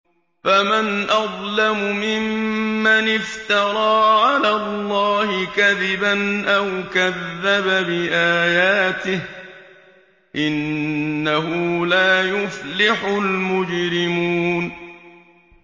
فَمَنْ أَظْلَمُ مِمَّنِ افْتَرَىٰ عَلَى اللَّهِ كَذِبًا أَوْ كَذَّبَ بِآيَاتِهِ ۚ إِنَّهُ لَا يُفْلِحُ الْمُجْرِمُونَ